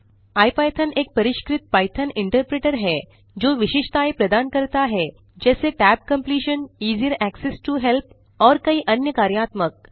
IPython एक परिष्कृत Python interpreter है जो विशेषताएँ प्रदान करता है जैसे tab completion easier access to help और कई अन्य कार्यात्मक